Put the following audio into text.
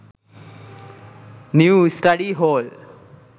new study hall